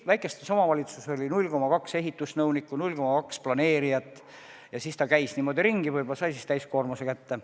Väikestes omavalitsustes oli 0,2 ehitusnõunikku, 0,2 planeerijat, ja nad käisid niimoodi ringi, et said täiskoormuse kätte.